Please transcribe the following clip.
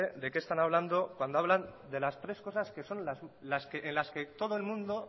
de qué están hablando cuando hablan de las tres cosas que son en las que todo el mundo